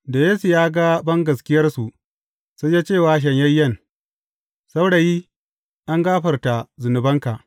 Da Yesu ya ga bangaskiyarsu, sai ya ce wa shanyayyen, Saurayi, an gafarta zunubanka.